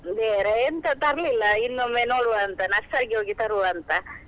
ಬೇರೆ ಎಂತ ತರ್ಲಿಲ್ಲ ಇನ್ನೊಮ್ಮೆ ನೋಡುವ ಅಂತ nursery ಗೆ ಹೋಗಿ ತರುವ ಅಂತ.